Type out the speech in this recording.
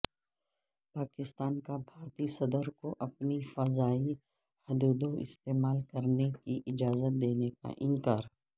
پاکستان کابھارتی صدرکواپنی فضائی حدوداستعمال کرنے کی اجازت دینے سے انکار